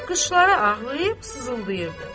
Qışları ağlayıb sızıldayırdı.